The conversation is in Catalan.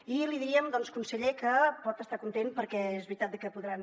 i li diríem conseller que pot estar content perquè és veritat de que podran